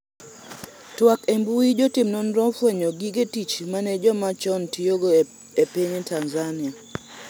twak embui jotim nonro ofwenyo gige tich mane joma chon tiyogo e piny Tanzania